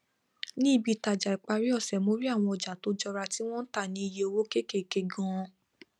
ní ibiitaja ìparí ọsẹ mo rí àwọn ọja tó jọra tí wọn ń tà ní iye owó kékèké ganan